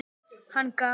Hann gaf